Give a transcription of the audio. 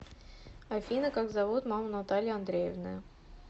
афина как зовут маму натальи андреевны